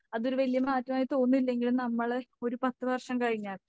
അതൊരു വല്യ മാറ്റമായി തോന്നുന്നില്ലെങ്കിലും നമ്മളെ ഒരു പത്ത് വർഷം കഴിഞ്ഞാൽ